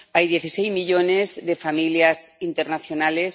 Hay dieciséis millones de familias internacionales.